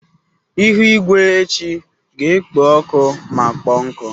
Ihu igwe echi ga-ekpo ọkụ ma kpọọ nkụ.